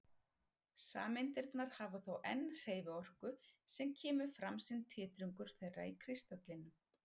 Sameindirnar hafa þó enn hreyfiorku sem kemur fram sem titringur þeirra í kristallinum.